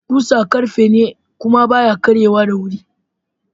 Kusa ƙarfe ne kuma baya karye wa da wuri.